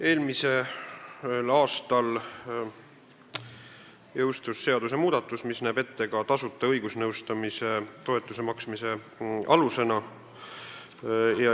Eelmisel aastal jõustus seadusmuudatus, mis näeb ette tasuta õigusnõustamise toetuse maksmise alused.